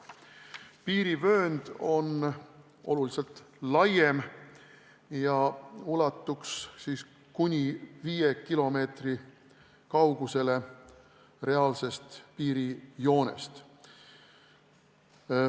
Piirivöönd on oluliselt laiem ja ulatuks kuni viie kilomeetri kaugusele reaalsest piirijoonest.